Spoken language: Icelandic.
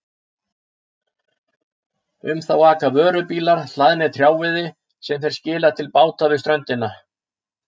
Um þá aka vörubílar hlaðnir trjáviði sem þeir skila til báta við ströndina.